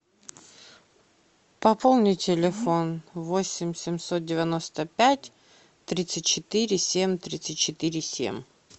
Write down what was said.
пополни телефон восемь семьсот девяносто пять тридцать четыре семь тридцать четыре семь